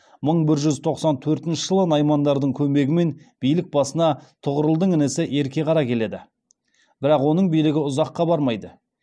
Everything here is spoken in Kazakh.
мың бір жүз тоқсан төртінші жылы наймандардың көмегімен билік басына тұғырылдың інісі ерке қара келеді бірақ оның билігі ұзаққа бармайды